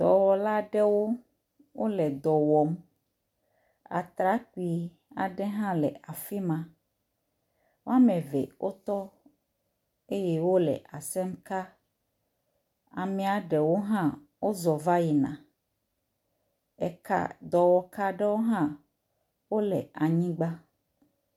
Dɔwɔla aɖewo wole dɔ wɔm, atrakpui aɖe hã le afi ma. woame eve wotɔ eye wole asem ka. Amea ɖewo hã wozɔ va yina. Eka, dɔwɔka aɖewo hã wole anyigba.